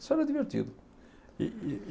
Isso era divertido. E e